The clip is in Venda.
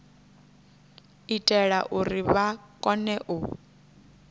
itela uri vha kone u